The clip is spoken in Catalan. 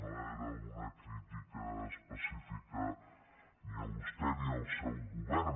no era una crítica específica ni a vostè ni al seu govern